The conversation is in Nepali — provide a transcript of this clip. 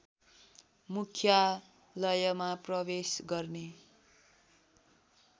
मुख्यालयमा प्रवेश गर्ने